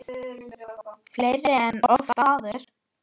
Fleiri en oft áður.